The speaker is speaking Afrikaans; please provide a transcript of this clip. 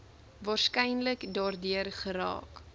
waarskynlik daardeur geraak